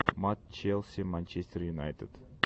матч челси манчестер юнайтед